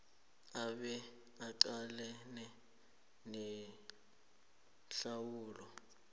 abe aqalane nehlawulo